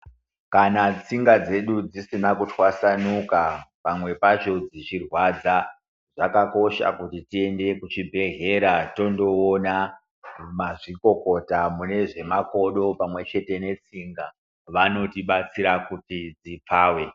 Kana tsinga dzedu dzisina kuthwasanuka, pamwe pacho dzichirwadza, zvakakosha kuti tiyende kuchibhedhlera tondowona mazvikokota munezvemakodo, pamwe chete netsinga. Vanotibatsira kuti dzipave.